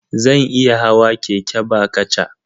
Zan iya hawa keke ba kaca.